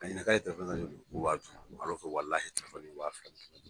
Ka ɲininka k'a ye joli ko wa duuru in ye wa fila